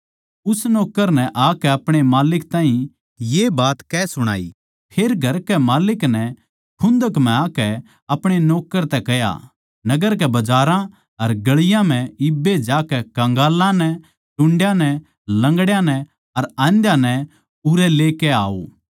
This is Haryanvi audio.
उस नौक्कर नै आकै अपणे माल्लिक ताहीं ये बात कह सुणाई फेर घर कै माल्लिक नै खुन्दक म्ह आकै अपणे नौक्कर तै कह्या नगर के बजारां अर गळियाँ म्ह इब्बे जाकै कन्गालाँ नै टुंड्यां नै लंगड्यां नै अर आंध्याँ नै उरै लेकै आओ